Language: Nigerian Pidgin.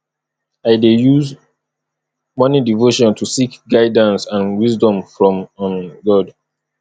i dey use morning devotion to seek guidance and wisdom from um god